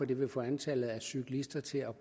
det vil få antallet af cyklister til at